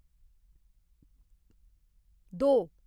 दो